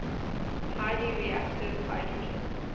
highly reactive hydrogen